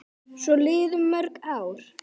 Svo liðu mörg ár.